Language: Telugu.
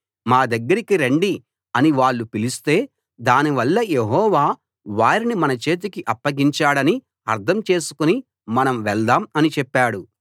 మా దగ్గరకి రండి అని వాళ్ళు పిలిస్తే దానివల్ల యెహోవా వారిని మన చేతికి అప్పగించాడని అర్థం చేసుకుని మనం వెళ్దాం అని చెప్పాడు